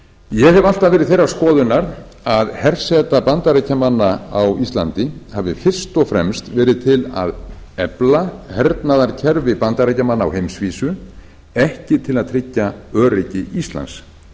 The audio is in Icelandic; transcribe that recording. ég hef alltaf verið þeirrar skoðunar að herseta bandaríkjamanna á íslandi hafi fyrst og fremst verið til að efla hernaðarkerfi bandaríkjamanna á heimsvísu ekki til að tryggja öryggi íslands